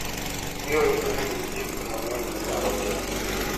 Ibiro yudo ni nitie gik mang'eny minyalo timo.